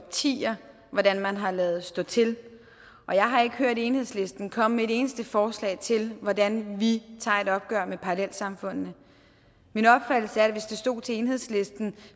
årtier hvordan man har ladet stå til og jeg har ikke hørt enhedslisten komme med et eneste forslag til hvordan vi tager et opgør med parallelsamfundene min opfattelse er at hvis det stod til enhedslisten